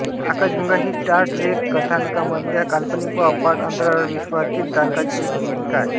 आकाशगंगा ही Star Trek कथानकामधल्या काल्पनिक व अफाट अंतराळविश्वातील तारकांची एक दीर्घिका आहे